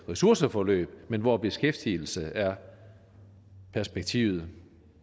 ressourceforløb men hvor beskæftigelse er perspektivet